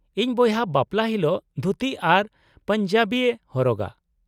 -ᱤᱧ ᱵᱚᱭᱦᱟ ᱵᱟᱯᱞᱟ ᱦᱤᱞᱳᱜ ᱫᱷᱩᱛᱤ ᱟᱨ ᱯᱟᱧᱡᱟᱵᱤᱭ ᱦᱚᱨᱚᱜᱟ ᱾